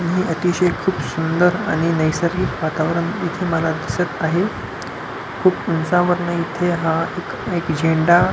हे अतिशय खुप सुंदर आणि नैसर्गिक वातावरण इथे मला दिसत आहे खुप उंचावरन इथे हा एक एक झेंडा --